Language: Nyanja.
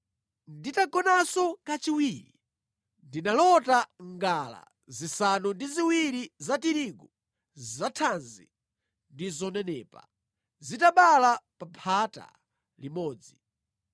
“Nditagonanso kachiwiri, ndinalota ngala zisanu ndi ziwiri za tirigu zathanzi ndi zonenepa zitabala pa phata limodzi.